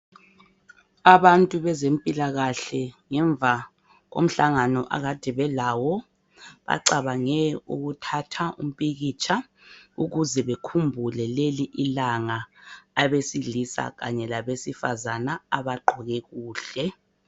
Abantu bezempilakahle ngemva ko mhlangano akade belawo, bacabange ukuthatha umpikitsha ukuze bekhumbule leli ilanga abesilisa labesifazana abagqoke kuhle.